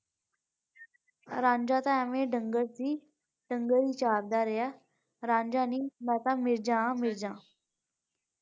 ਰਾਂਝਾ ਤੇ ਏਵੈ ਡੰਗਰ ਸੀ ਡੰਗਰ ਹੀ ਚਾਰਦਾ ਰਿਹਾ ਰਾਂਝਾ ਨਹੀਂ ਮੈ ਤੇ ਮਿਰਜ਼ਾ ਹਾਂ ਮਿਰਜ਼ਾ।